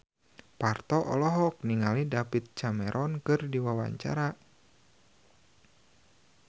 Parto olohok ningali David Cameron keur diwawancara